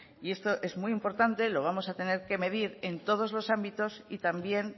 esto es muy importante lo vamos a tener que medir en todos los ámbitos y también